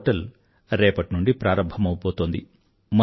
ఈ పోర్టల్ రేపటి నుండీ ప్రారంభమవబోతోంది